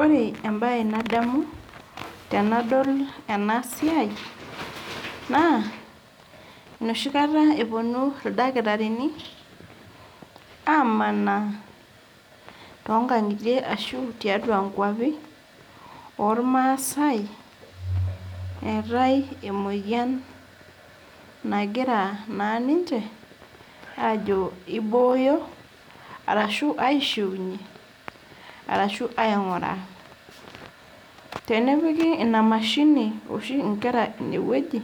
Ore entoki nadamu tenadol enasia naa enoshi kata teneponu ildakitarini amanaa aishoyo toonkangitie ashu tiatua inkwapi ormaasae , eetae emoyian nagira naa ninche ajo ibooyo arashu aishiunyie arashu ainguraa . Tenepiki inamashini oshi inkera inewueji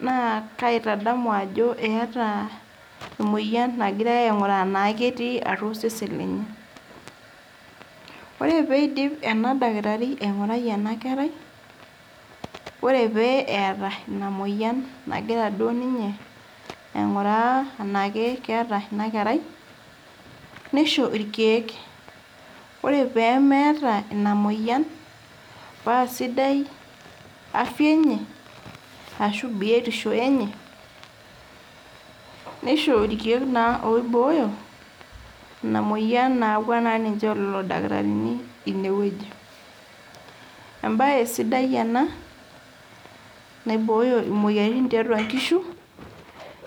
naitadamu ajo keetae emoyian nagirae ainguraa naa ketii osesen lenye. Ore peidip eledakitari aingurai enakerai , ore pee eidip aingurai inamoyian enakeeta inakerai nisho irkiek . Ore pemeeta inamoyian paa sidai afya enye ashu biotisho enye neisho irkiek oiboyo inamoyian nayawua naa lelo dakitarini inewueji. Embae sidai ena naiboyo imoyiaritin tiatua inkishu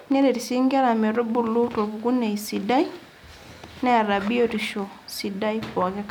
neret sii inker metubulu torpukunei sidai neeta biotisho sidai poki kata.